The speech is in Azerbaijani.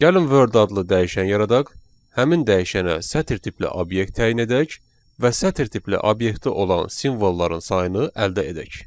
Gəlin "word" adlı dəyişən yaradaq, həmin dəyişənə sətr tipli obyekt təyin edək və sətr tipli obyekti olan simvolların sayını əldə edək.